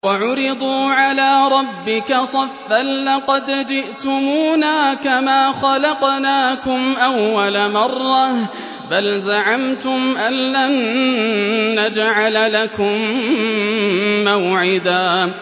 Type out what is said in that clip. وَعُرِضُوا عَلَىٰ رَبِّكَ صَفًّا لَّقَدْ جِئْتُمُونَا كَمَا خَلَقْنَاكُمْ أَوَّلَ مَرَّةٍ ۚ بَلْ زَعَمْتُمْ أَلَّن نَّجْعَلَ لَكُم مَّوْعِدًا